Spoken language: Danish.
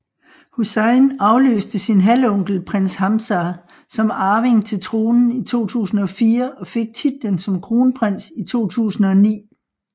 Hussein afløste sin halvonkel prins Hamzah som arving til tronen i 2004 og fik titlen som kronprins i 2009